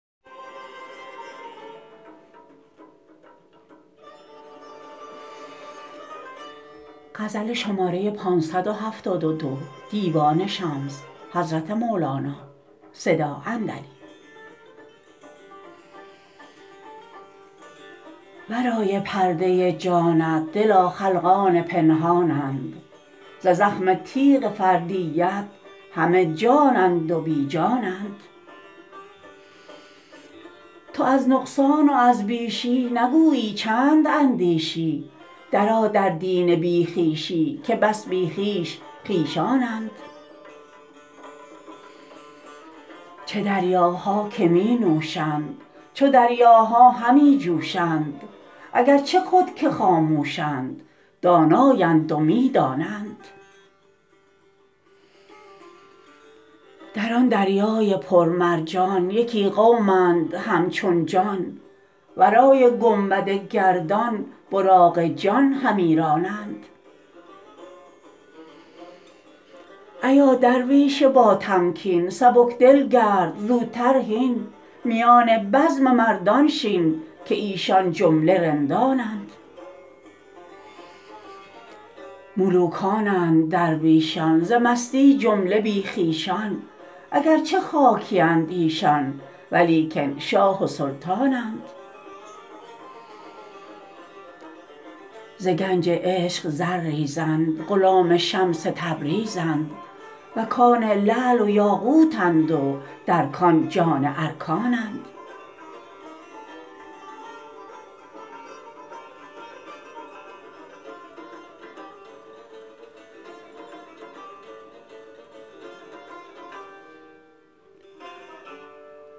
ورای پرده جانت دلا خلقان پنهانند ز زخم تیغ فردیت همه جانند و بی جانند تو از نقصان و از بیشی نگویی چند اندیشی درآ در دین بی خویشی که بس بی خویش خویشانند چه دریاها که می نوشند چو دریاها همی جوشند اگر چه خود که خاموشند دانایند و می دانند در آن دریای پر مرجان یکی قومند همچون جان ورای گنبد گردان براق جان همی رانند ایا درویش باتمکین سبک دل گرد زوتر هین میان بزم مردان شین که ایشان جمله رندانند ملوکانند درویشان ز مستی جمله بی خویشان اگر چه خاکیند ایشان ولیکن شاه و سلطانند ز گنج عشق زر ریزند غلام شمس تبریزند و کان لعل و یاقوتند و در کان جان ارکانند